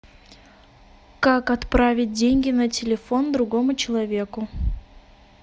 как отправить деньги на телефон другому человеку